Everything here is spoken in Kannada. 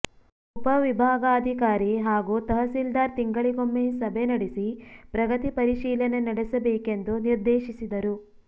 ಉಪವಿಭಾಗಾಧಿಕಾರಿ ಹಾಗೂ ತಹಶೀಲ್ದಾರ್ ತಿಂಗಳಿಗೊಮ್ಮೆ ಸಭೆ ನಡೆಸಿ ಪ್ರಗತಿ ಪರಿಶೀಲನೆ ನಡೆಸಬೇಕೆಂದು ನಿರ್ದೇಶಿಸಿದರು